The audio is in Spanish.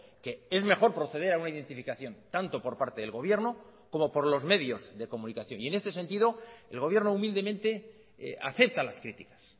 que es mejor proceder a una identificación tanto por parte del gobierno como por los medios de comunicación y en este sentido el gobierno humildemente acepta las criticas